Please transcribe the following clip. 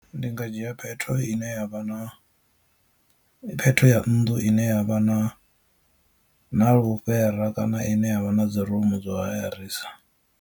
Ndi nga dzhia phetho ine yavha na phetho ya nnḓu ine ya vha na na lufhera kana ine ya vha na dzi rumu dza hayarisa.